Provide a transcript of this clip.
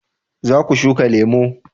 za ku shuka lemo?